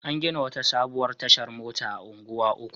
An gina wata sabuwar tashar mota a Unguwa Uku.